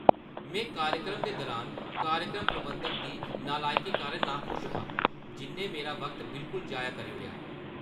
में कार्यक्रम दे दुरान कार्यक्रम प्रबंधक दी नलायकी कारण नाखुश हा जिʼन्नै मेरा वक्त बिलकुल जाया करी ओड़ेआ।